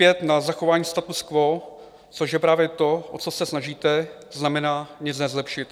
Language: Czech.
Lpět na zachování statu quo, což je právě to, o co se snažíte, znamená nic nezlepšit.